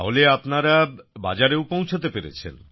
তাহলে আপনারা বাজারেও পৌঁছতে পেরেছেন